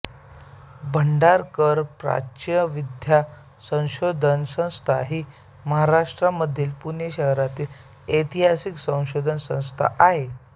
भांडारकर प्राच्यविद्या संशोधन संस्था ही महाराष्ट्रामधील पुणे शहरातील ऐतिहासिक संशोधन संस्था आहे